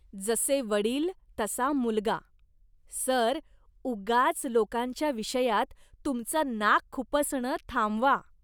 जसे वडील, तसा मुलगा. सर, उगाच लोकांच्या विषयात तुमचं नाक खुपसणं थांबवा.